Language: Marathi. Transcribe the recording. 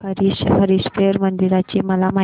हरीहरेश्वर मंदिराची मला माहिती दे